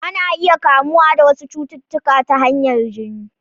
Ana iya kamuwa da wasu cututtuka ta hanyar jini.